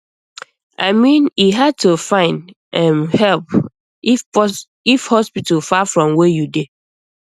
i mean e hard to find um help um if hospital far from where you dey